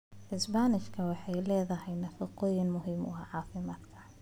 Isbaanishka waxay leedahay nafaqooyin muhiim ah oo caafimaad.